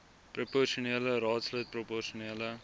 proposionele raadslid proposionele